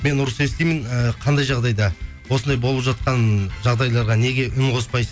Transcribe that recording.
мен ұрыс естимін ііі қандай жағдайда осындай болып жатқан жағдайларға неге үн қоспайсыз